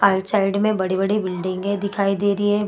आइट side में बड़ी-बड़ी बिल्डिंगे दिखाई दे रही है।